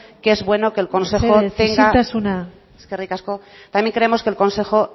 que es bueno que el consejo tenga mesedez isiltasuna eskerrik asko también creemos que el consejo